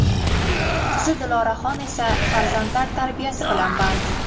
Qizi Dildoraxon esa farzandlar tarbiyasi bilan band.